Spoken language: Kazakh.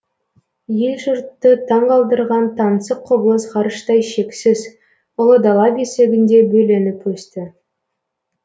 ел жұртты таңғалдырған таңсық құбылыс ғарыштай шексіз ұлы дала бесігінде бөленіп өсті